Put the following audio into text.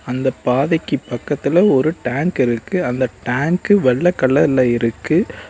இந்தப் பாதைக்கு பக்கத்துல ஒரு டேங்க் இருக்கு. அந்த டேங்க் வெள்ள கலர்ல இருக்கு.